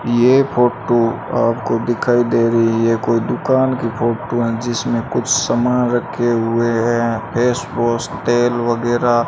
ये फोटो आपको दिखाई दे रही है कोई दुकान की फोटो है जिसमें कुछ सामान रखे हुए हैं फेसवॉश तेल वगैरह।